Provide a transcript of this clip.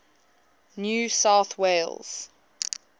new south wales